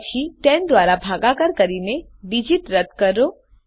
તે પછી10 દ્વારા ભાગાકાર કરીને ડીજીટ રદ કરો